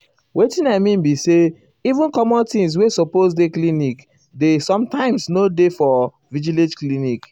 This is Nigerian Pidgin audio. wetin i mean be say even common things wey supose dey clinic dey sometimes nor dey for village clinic.